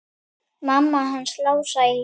Mamma hans Lása í